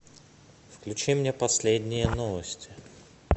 включи мне последние новости